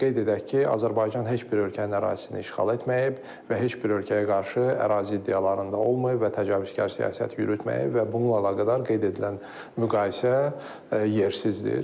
Qeyd edək ki, Azərbaycan heç bir ölkənin ərazisini işğal etməyib və heç bir ölkəyə qarşı ərazi iddialarında olmayıb və təcavüzkar siyasət yürütməyib və bununla əlaqədar qeyd edilən müqayisə yersizdir.